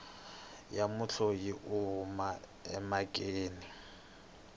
ya mudyondzi u huma emhakeni